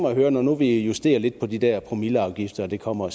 at høre når nu vi justerer lidt på de der promilleafgifter og der kommer